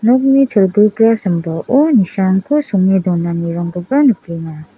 nokni cholguga sambao nisanko songe donanirangkoba nikenga.